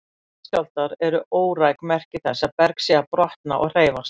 Jarðskjálftar eru óræk merki þess að berg sé að brotna og hreyfast.